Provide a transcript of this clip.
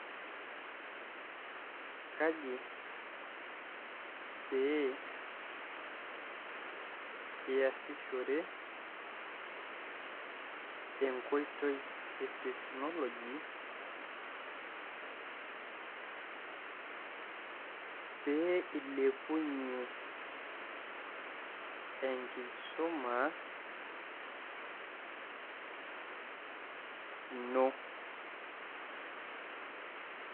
kaji pee iasishore enkoitoi e teknoloji pee ilepunye enkisuma ino?